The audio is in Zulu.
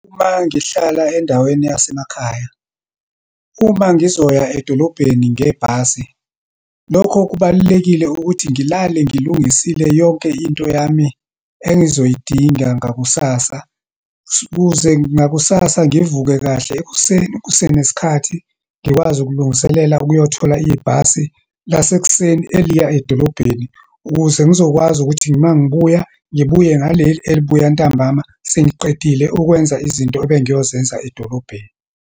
Uma ngihlala endaweni yasemakhaya. Uma ngizoya edolobheni ngebhasi, lokho kubalulekile ukuthi ngilale ngilungisile yonke into yami engizoyidinga ngakusasa. Ukuze ngakusasa ngivuke kahle ekuseni kusenesikhathi, ngikwazi ukulungiselela ukuyothola ibhasi lasekuseni eliya edolobheni. Ukuze ngizokwazi ukuthi uma ngibuya, ngibuye ngaleli elibuya ntambama, sengiqedile ukwenza izinto ebengiyozenza edolobheni.